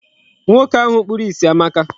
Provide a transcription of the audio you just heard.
Nwoke ahụ kpuru isi amaka.